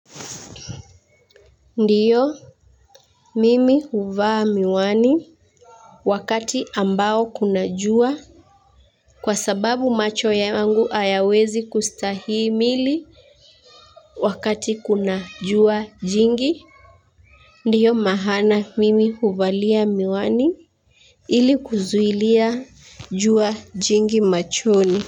Ndiyo mimi huvaa miwani wakati ambao kuna jua kwa sababu macho yangu hayawezi kustahimili wakati kuna jua jingi ndiyo maana mimi huvalia miwani ili kuzuilia jua jingi machoni.